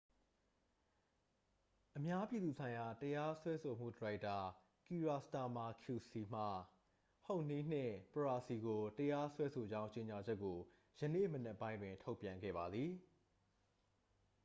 အများပြည်သူဆိုင်ရာတရားစွဲဆိုမှု၏ဒါရိုက်တာ ကီရာစတာမာ qc မှ ဟုဟ်နီး နှင့် ပရာစီ ကို တရားစွဲဆိုကြောင်းကြေညာချက်ကို ယနေ့မနက်ပိုင်းတွင် ထုတ်ပြန်ခဲ့ပါသည်